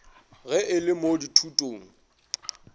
ge e le mo dithutong